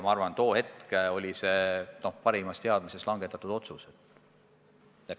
Ma arvan, et tol hetkel tehtud otsus oli langetatud parimas teadmises.